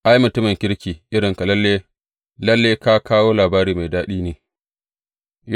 Ai, mutumin kirki irinka, lalle ka kawo labari mai daɗi ne.